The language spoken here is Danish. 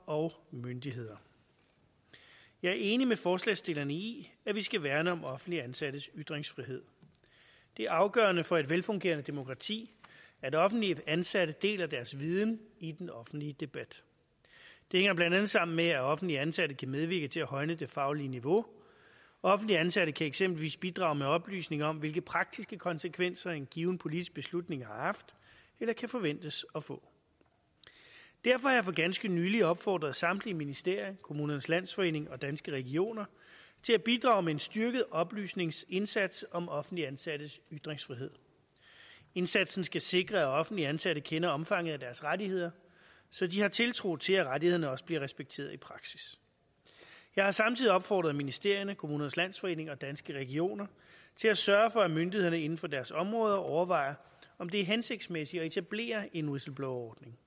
og myndighederne jeg er enig med forslagsstillerne i at vi skal værne om offentligt ansattes ytringsfrihed det er afgørende for et velfungerende demokrati at offentligt ansatte deler deres viden i den offentlige debat det hænger blandt andet sammen med at offentligt ansatte kan medvirke til at højne det faglige niveau offentligt ansatte kan eksempelvis bidrage med oplysninger om hvilke praktiske konsekvenser en given politisk beslutning har haft eller kan forventes at få derfor har jeg for ganske nylig opfordret samtlige ministerier kommunernes landsforening og danske regioner til at bidrage med en styrket oplysningsindsats om offentligt ansattes ytringsfrihed indsatsen skal sikre at offentligt ansatte kender omfanget af deres rettigheder så de har tiltro til at rettighederne også bliver respekteret i praksis jeg har samtidig opfordret ministerierne kommunernes landsforening og danske regioner til at sørge for at myndighederne inden for deres områder overvejer om det er hensigtsmæssigt at etablere en whistleblowerordning